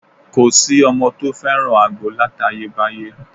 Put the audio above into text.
Kò sí ọmọ tó fẹ́ràn àgbo látayébáyé